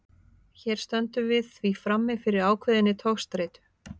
Hér stöndum við því frammi fyrir ákveðinni togstreitu.